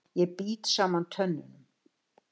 Ég bít saman tönnunum.